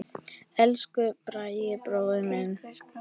Elsku Bragi bróðir minn.